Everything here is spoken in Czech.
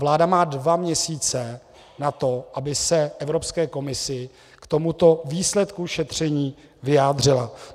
Vláda má dva měsíce na to, aby se Evropské komisi k tomuto výsledku šetření vyjádřila.